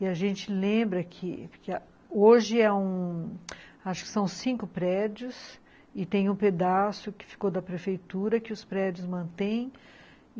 E a gente lembra que hoje são cinco prédios e tem um pedaço que ficou da prefeitura, que os prédios mantém.